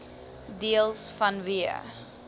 deels vanweë